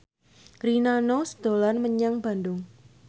Rina Nose dolan menyang Bandung